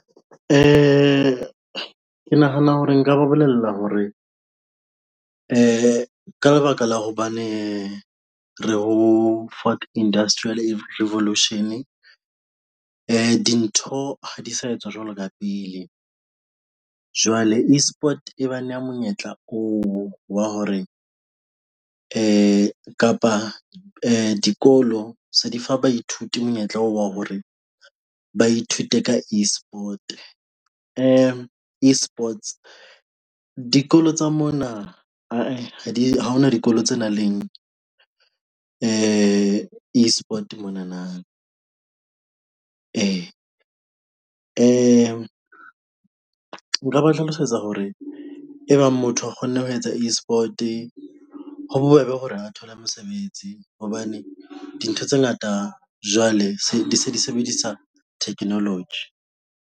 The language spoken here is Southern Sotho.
Ke nahana hore nka ba bolella hore ke ka lebaka la hobane re ho Fourth Industrial Revolution dintho ha di sa etswa jwalo ka pele, jwale eSport bana monyetla oo wa hore di kapa dikolo di fa baithuti monyetla wa hore ba ithute ka eSport eSports dikolo tsa mona ha di hona dikolo tse nang le eSport monana nka ba hlalosetsa hore e bang motho a kgona ho etsa eSport ho bobebe hore a thole mosebetsi hobane dintho tse ngata jwale se di se di sebedisa technolog.